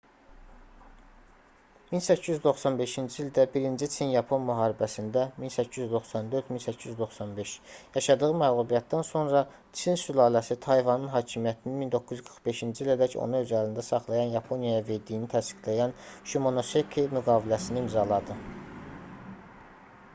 1895-ci ildə i çin-yapon müharibəsində 1894-1895 yaşadığı məğlubiyyətdən sonra tsin sülaləsi tayvanın hakimiyyətini 1945-ci ilədək onu öz əlində saxlayan yaponiyaya verdiyini təsdiqləyən şimonoseki müqaviləsini imzaladı